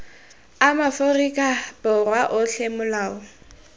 a maaforika borwa otlhe molao